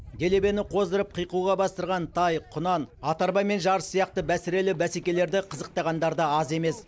делебені қоздырып қиқуға бастырған тай құнан ат арбамен жарыс сияқты бәсірелі бәсекелерді қызықтағандар да аз емес